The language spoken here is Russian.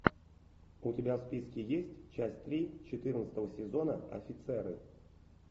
у тебя в списке есть часть три четырнадцатого сезона офицеры